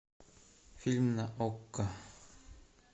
фильм на окко